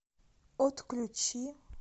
отключи